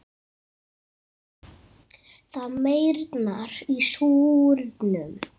Það meyrnar í súrnum.